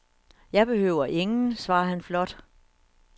Jeg behøver ingen, svarer han flot.